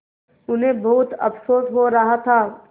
उन्हें बहुत अफसोस हो रहा था